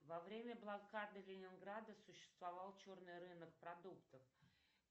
во время блокады ленинграда существовал черный рынок продуктов